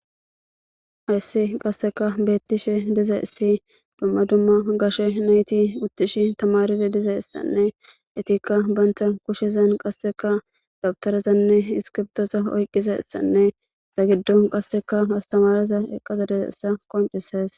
hayssi qasseka beettishe diza issi dumma dumma gashe nayti uttishi tamaride diza issanne etikka bantha kushezan qasseka dabtorezanne iskibdosa oyqqiza issanne da giddon qasseka astamareza eqqaza desessa qoncises